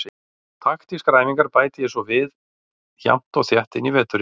Taktískar æfingar bæti ég svo við jafnt og þétt inn í veturinn.